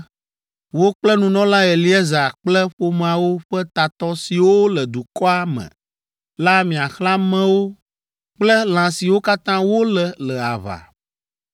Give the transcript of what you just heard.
“Wò kple nunɔla Eleazar kple ƒomeawo ƒe tatɔ siwo le dukɔa me la miaxlẽ amewo kple lã siwo katã wolé le aʋa.